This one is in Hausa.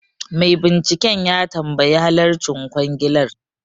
Mai binciken ya tambayi halarcin kwangilar